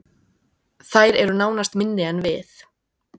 Þær eru nánast minni en við